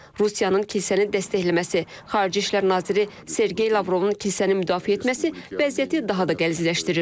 Rusiyanın kilsəni dəstəkləməsi, xarici İşlər naziri Sergey Lavrovun kilsəni müdafiə etməsi vəziyyəti daha da qəlizləşdirir.